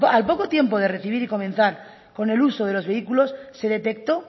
al poco tiempo de recibir y comenzar con el uso de los vehículos se detectó